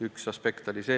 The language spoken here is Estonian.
Üks aspekte oli see.